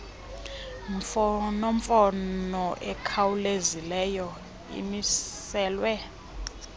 mfonomfono ikhawulezileyo imiselwe